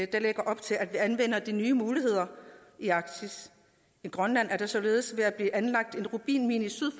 der lægger op til at vi anvender de nye muligheder i arktis i grønland er der således ved at blive anlagt en rubinmine syd